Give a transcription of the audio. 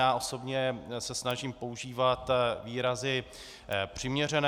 Já osobně se snažím používat výrazy přiměřené.